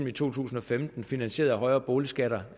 i to tusind og femten finansieret af højere boligskatter